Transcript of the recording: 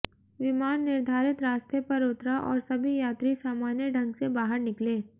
विमान निर्धारित रास्ते पर उतरा और सभी यात्री सामान्य ढंग से बाहर निकले